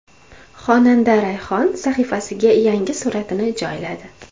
Xonanda Rayhon sahifasiga yangi suratini joyladi.